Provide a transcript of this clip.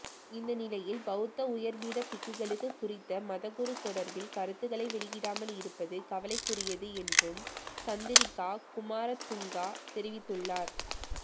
இந்தநிலையில் பௌத்த உயர்பீட பிக்குகளும் குறித்த மதகுரு தொடர்பில் கருத்துக்களைவெளியிடாமல் இருப்பது கவலைக்குரியது என்றும் சந்திரிகா குமாரதுங்க தெரிவித்துள்ளார்